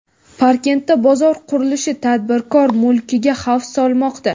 Parkentda bozor qurilishi tadbirkor mulkiga xavf solmoqda.